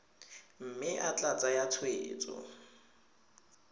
mme e tla tsaya tshwetso